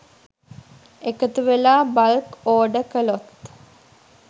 එකතුවෙලා bulk order කළොත්